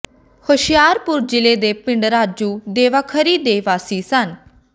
ਹੁਸ਼ਿਆਰਪੁਰ ਜ਼ਿਲੇ ਦੇ ਪਿੰਡ ਰਾਜੂ ਦਵਾਖਰੀ ਦੇ ਵਾਸੀ ਸਨ